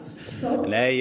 nei að